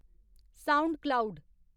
sound cloud